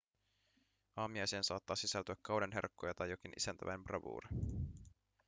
aamiaiseen saattaa sisältyä kauden herkkuja tai jokin isäntäväen bravuuri